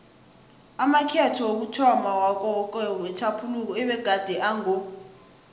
amakhetho wokuthomma wakawokewoke wetjhaphuluko abegade ango